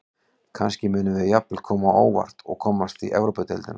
Kannski munum við jafnvel koma á óvart og komast í Evrópudeildina.